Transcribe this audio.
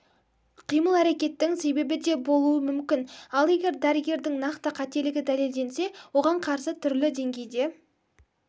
қимыл-әрекеттің себебі де болуы мүмкін ал егер дәрігердің нақты қателігі дәлелденсе оған қарсы түрлі деңгейде